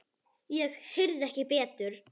Ég heyrði ekki betur.